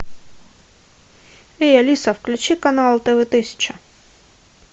эй алиса включи канал тв тысяча